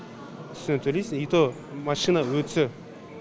үстіне төлейсің и то машина өтсе